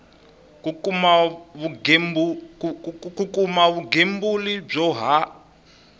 ku kuma vugembuli byo ha